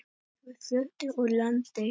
Við fluttum úr landi.